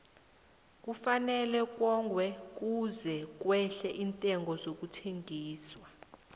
kufanele kongwe kuze kwehle iintengo zokubolekisa